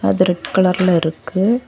இது ரெட் கலர்ல இருக்கு.